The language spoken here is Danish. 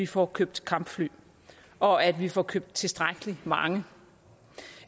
få købt kampfly og at vi får købt tilstrækkelig mange